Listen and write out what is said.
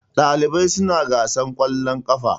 ɗalibai suna gasar ƙwallon kafa